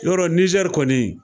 Yɔrɔ nizɛri kɔni